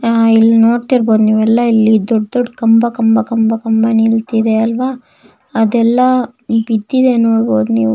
ಅಹ್ ಇಲ್ ನೋಡ್ತಿರಬಹುದು ನೀವೆಲ್ಲ ಇಲ್ಲಿ ದೊಡ್ಡ ದೊಡ್ಡ ಕಂಬ ಕಂಬ ಕಂಬ ಕಂಬ ನಿಂತಿದೆ ಅಲ್ವ ಅದೆಲ್ಲ ಬಿದ್ದಿದೆ ನೋಡಬಹುದು ನೀವು.